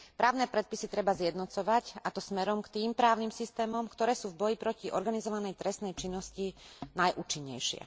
Právne predpisy treba zjednocovať, a to smerom k tým právnym systémom, ktoré sú v boji proti organizovanej trestnej činnosti najúčinnejšie.